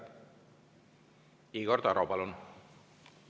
Igor Taro, palun!